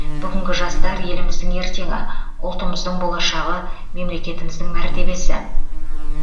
бүгінгі жастар еліміздің ертеңі ұлтымыздың болашағы мемлекетіміздің мәртебесі